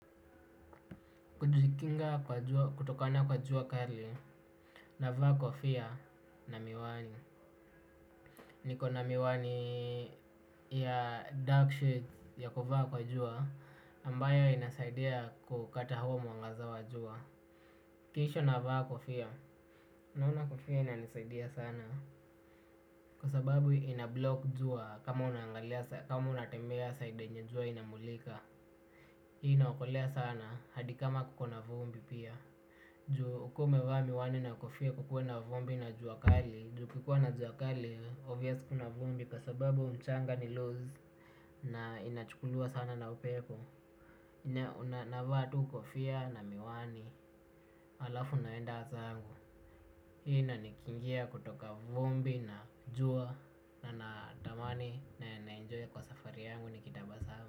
Najikinga kwa jua kutokana kwa jua kali navaa kofia na miwani. Niko na miwani ya darksheds ya kuvaa kwa jua ambayo inasaidia kukata huo mwangaza wa jua. Kisha navaa kofia naona kofia inanisaidia sana. Kwa sababu inablock jua kama unatembea side yenye jua inamulika. Hii inaokolea sana hadi kama kuko na vumbi pia. Juu ukuwe umevaa miwani na kofia kukuwe na vumbi na juakali. Juu kukuwa na juakali, obvious kuna vumbi kwa sababu mchanga ni lose. Na inachukuliwa sana na upepo. Na una navaa tu kofia na miwani, halafu naenda hata angu. Hii inanikingia kutoka vumbi na jua. Na natamani na naenjoy kwa safari yangu nikitabasamu.